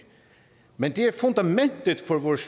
men det er fundamentet for vores